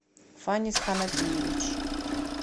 фанис ханапиевич